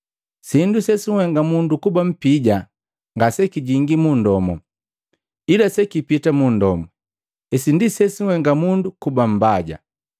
Sindu sesunhenga mundu kuba mpija nga sekijingi mundomu, ila sekipita munndomu. Hesi ndi sesunhenga mundu kuba mbaja.”